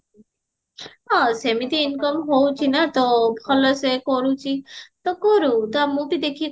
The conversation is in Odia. ହଁ ସେମିତି income ହଉଚି ନା ତ ଭଲସେ କରୁଚି ତ କରୁ ମୁଁ ବି ତାକୁ ଦେଖିକି